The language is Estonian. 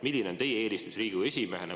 Milline on teie eelistus Riigikogu esimehena?